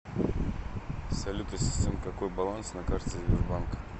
салют ассистент какой баланс на карте сбербанка